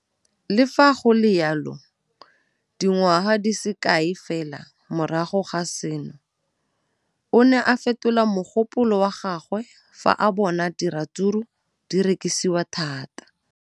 Le fa go le jalo, dingwaga di se kae fela morago ga seno, o ne a fetola mogopolo wa gagwe fa a bona gore diratsuru di rekisiwa thata.